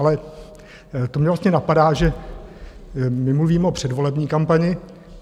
Ale to mě vlastně napadá, že my mluvíme o předvolební kampani.